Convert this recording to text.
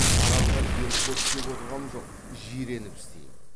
арамға жерік боп істеп отырғам жоқ жиреніп істейім